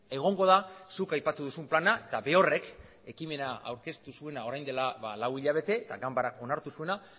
egongo da zuk aipatu duzun plana eta berorrek ekimena aurkeztu zuena orain dela ba lau hilabete eta ganbarak onartu zuena